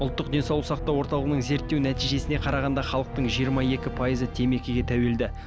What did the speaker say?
ұлттық денсаулық сақтау орталығының зерттеу нәтижесіне қарағанда халықтың жиырма екі пайызы темекіге тәуелді